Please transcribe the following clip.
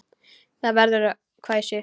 Það verður að hvæsi.